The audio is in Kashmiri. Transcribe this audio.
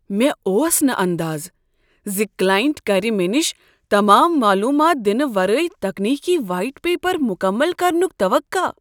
مےٚ اوس نہٕ اندازٕ زِ کلاینٹ کرِ مےٚ نش تمام معلومات دِنہٕ ورٲے ٹیکنیکی وایٹ پیپر مکمل کرنک توقع۔